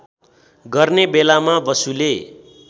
गर्ने बेलामा बसुले